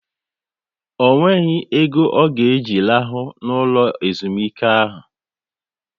Ọ nweghị ego ọ ga eji rahụ n'ụlọ ezumike ahu